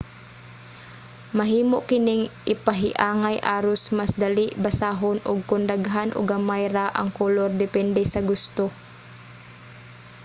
mahimo kining ipahiangay aros mas dali basahon ug kon daghan o gamay ra ang kolor depende sa gusto